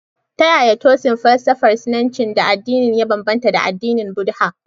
Ta yaya Tooism falsafar Sinanci da addinin ya bambanta da addinin Buddha?